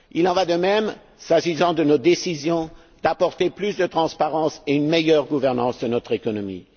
Il en va de même s'agissant de nos décisions d'apporter plus de transparence et d'assurer une meilleure gouvernance de notre économie.